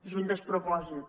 és un despropòsit